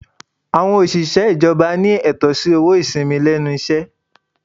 Àwọn òṣìṣẹ́ ìjọba ní ẹ̀tọ́ sí owó ìsìnmi lẹ́nu iṣẹ́.